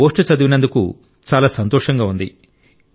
మీ ఈ పోస్ట్ చదివినందుకు చాలా సంతోషంగా ఉంది